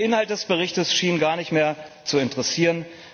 Der Inhalt des Berichts schien gar nicht mehr zu interessieren.